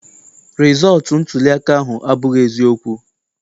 Rịzọọtụ ntuliaka ahụ abụghị eziokwu.